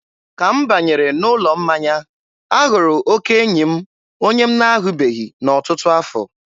ka m banyere n'ụlọ mmanya, a hụrụ oke enyi m onye m na-ahụbeghị n'ọtụtụ afọ.